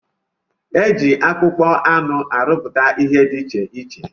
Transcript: Eji akpụkpọ anụ arụpụta ihe dị iche iche.